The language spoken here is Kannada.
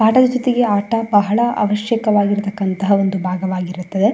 ಪಾಠದ ಜ್ಯೋತೆಗೆ ಆಠ ಬಹಳ ಅವಶ್ಯಕವಾಗಿರಿತಂಥ ಭಾಗ ವಾಗಿರುತ್ತದೆ.